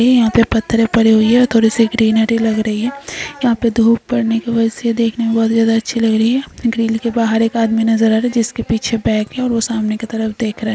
ये यहाँ पे पत्थरे पड़ी हुई हैथोड़ी सी ग्रीन हरी लग रही है यहाँ पे धुप पड़ने के वजह से देखने में बहुत ज्यादा अच्छी लग रही है ग्रील के बहार एक आदमी नजर आ रहा है जिसके पीछे बैग है और वह सामने की तरफ देख रहा है।